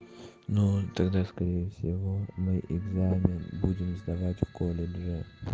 ну тогда скорее всего мы экзамен будем сдавать в колледже